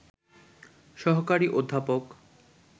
সহকারী অধ্যাপক